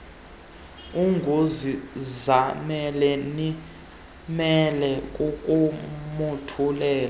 unguzizamele nimele kukumothulela